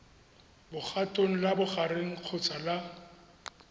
legatong la bogareng kgotsa la